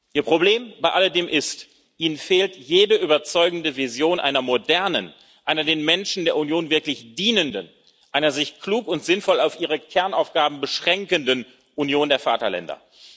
Ihr Problem bei alledem ist Ihnen fehlt jede überzeugende Vision einer modernen, einer den Menschen der Union wirklich dienenden, einer sich klug und sinnvoll auf ihre Kernaufgaben beschränkenden Union der Vaterländer.